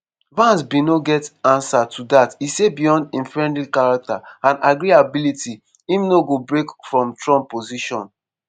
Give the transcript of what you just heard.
vance bin no get ansa to dat e say beyond im friendly character and agreeability im no go break from trump position.